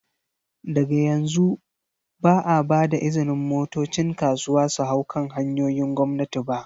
Daga yanzu, ba a ba da izinin motocin kasuwa su hau kan hanyoyin gwamnati ba.